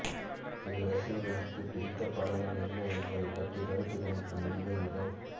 இதில் ரசிகர்ளுக்கு பிடித்த படங்கள் என்ன என்பது பற்றிய கருத்துகணிப்பு முடிவு இதோ